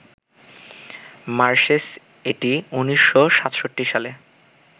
marshes এটি ১৯৬৭ সালে